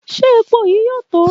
Ṣe epo yii yoo to?